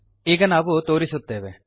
ಈಗ ನಾವು ತೋರಿಸುತ್ತೇವೆ